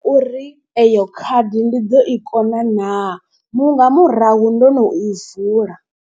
Uri eyo khadi ndi ḓo i kona naa mu nga murahu ndo no i vula.